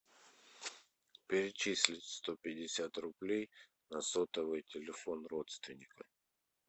перечислить сто пятьдесят рублей на сотовый телефон родственника